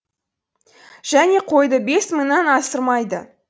және қойды бес мыңнан асырмайды